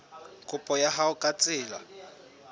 kopo ya hao ka tsela